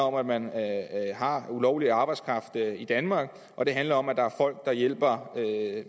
om at man har ulovlig arbejdskraft i danmark og det handler om at der er folk der hjælper